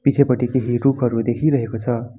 पिछेपटि केही रुखहरू देखिरहेको छ।